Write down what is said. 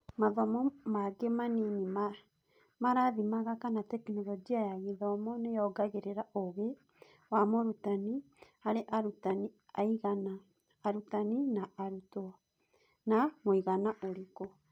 Mathomo mangĩ manini marathimaga kana Tekinoronjĩ ya Gĩthomo nĩyongagĩrĩra ũgĩ wa mũrutani, harĩ arutani aigana (arutani a arutwo) na mũigana ũrĩkũ.